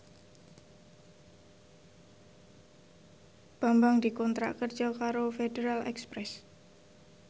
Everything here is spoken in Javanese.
Bambang dikontrak kerja karo Federal Express